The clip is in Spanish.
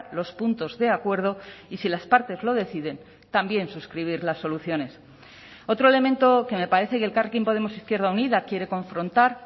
los puntos de acuerdo y si las partes lo deciden también suscribir las soluciones otro elemento que me parece que elkarrekin podemos izquierda unida quiere confrontar